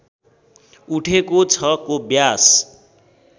उठेको छ को व्यास